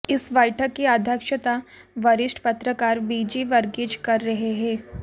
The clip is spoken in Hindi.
इस बैठक की अध्यक्षता वरिष्ठ पत्रकार बीजी वर्गीज़ कर रहे हैं